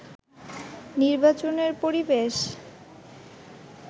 নির্বাচনের পরিবেশ